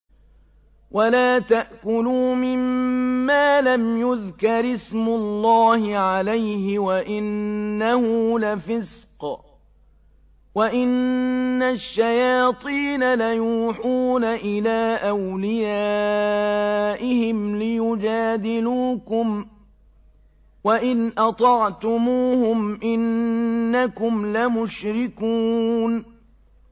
وَلَا تَأْكُلُوا مِمَّا لَمْ يُذْكَرِ اسْمُ اللَّهِ عَلَيْهِ وَإِنَّهُ لَفِسْقٌ ۗ وَإِنَّ الشَّيَاطِينَ لَيُوحُونَ إِلَىٰ أَوْلِيَائِهِمْ لِيُجَادِلُوكُمْ ۖ وَإِنْ أَطَعْتُمُوهُمْ إِنَّكُمْ لَمُشْرِكُونَ